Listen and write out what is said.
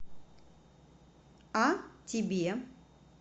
а тебе